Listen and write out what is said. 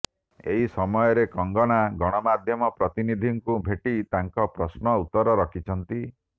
ଏହି ସମୟରେ କଙ୍ଗନା ଗଣମାଧ୍ୟମ ପ୍ରତିନିଧିଙ୍କୁ ଭେଟି ତାଙ୍କ ପ୍ରଶ୍ନ ଉତ୍ତର ରଖିଛନ୍ତି